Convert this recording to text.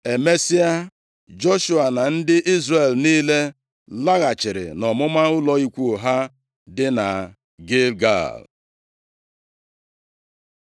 Emesịa, Joshua na ndị Izrel niile laghachiri nʼọmụma ụlọ ikwu ha dị na Gilgal.